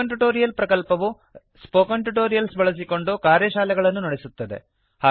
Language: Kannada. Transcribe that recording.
ಸ್ಪೋಕನ್ ಟ್ಯುಟೋರಿಯಲ್ ಪ್ರಕಲ್ಪವು ಸ್ಪೋಕನ್ ಟ್ಯುಟೋರಿಯಲ್ಸ್ ಬಳಸಿಕೊಂಡು ಕಾರ್ಯಶಾಲೆಗಳನ್ನು ನಡೆಸುತ್ತದೆ